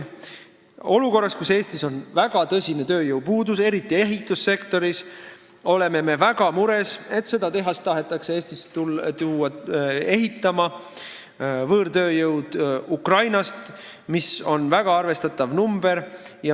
Olukorras, kus Eestis on väga tõsine tööjõupuudus, eriti ehitussektoris, oleme me väga mures, et seda tehast ehitama tahetakse Eestisse tuua võõrtööjõudu Ukrainast, väga arvestataval hulgal.